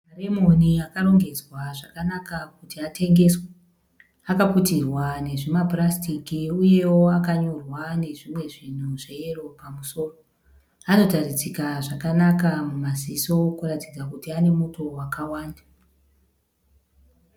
Maremoni akarongedzwa zvakanaka kuti atengeswe. Akaputirwa nezvimapurasitiki uyewo akanyorwa nezvimwe zvinhu zveyero pamusoro. Anotaridzika zvakanaka mumaziso kuratidza kuti ane muto wakawanda.